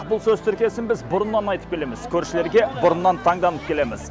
бұл сөз тіркесін біз бұрыннан айтып келеміз көршілерге бұрыннан таңданып келеміз